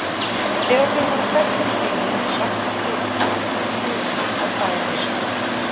Þegar þau voru sest inn í bílinn, ræskti Finnur sig og sagði